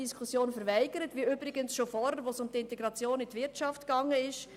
Das Gleiche ist ja bereits vorher bei der Diskussion über die Integration in die Wirtschaft passiert.